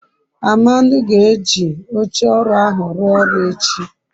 amadi ga-eji oche oru ahu rua oru echi